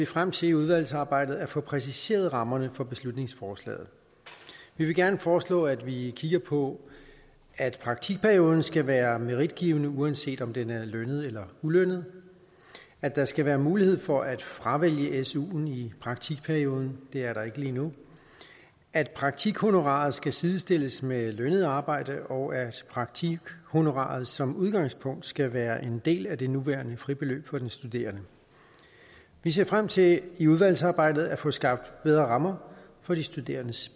frem til i udvalgsarbejdet at få præciseret rammerne for beslutningsforslaget vi vil gerne foreslå at vi kigger på at praktikperioden skal være meritgivende uanset om den er lønnet eller ulønnet at der skal være mulighed for at fravælge su i praktikperioden det er der ikke lige nu at praktikhonoraret skal sidestilles med lønnet arbejde og at praktikhonoraret som udgangspunkt skal være en del af det nuværende fribeløb for den studerende vi ser frem til i udvalgsarbejdet at få skabt bedre rammer for de studerendes